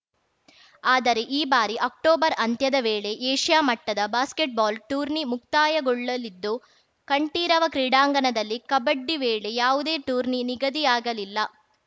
ಆದರೆ ಈ ಬಾರಿ ಅಕ್ಟೋಬರ್‌ ಅಂತ್ಯದ ವೇಳೆ ಏಷ್ಯಾ ಮಟ್ಟದ ಬಾಸ್ಕೆಟ್‌ಬಾಲ್‌ ಟೂರ್ನಿ ಮುಕ್ತಾಯಗೊಳ್ಳಲಿದ್ದು ಕಂಠೀರವ ಕ್ರೀಡಾಂಗಣದಲ್ಲಿ ಕಬಡ್ಡಿ ವೇಳೆ ಯಾವುದೇ ಟೂರ್ನಿ ನಿಗದಿಯಾಗಲಿಲ್ಲ